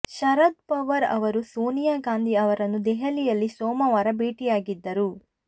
ಶರದ್ ಪವಾರ್ ಅವರು ಸೋನಿಯಾ ಗಾಂಧಿ ಅವರನ್ನು ದೆಹಲಿಯಲ್ಲಿ ಸೋಮವಾರ ಭೇಟಿಯಾಗಿದ್ದರು